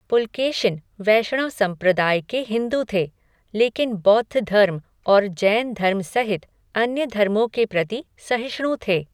पुलकेशिन वैष्णव संप्रदाय के हिंदू थे, लेकिन बौद्ध धर्म और जैन धर्म सहित अन्य धर्मों के प्रति सहिष्णु थे।